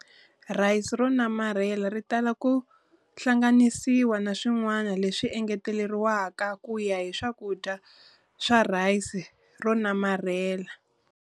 Rice ro namarhela ritala ku hlanganisiwa na swin'wana leswi engeteriwaka kuya hi swakudya swa rice ro namarhela.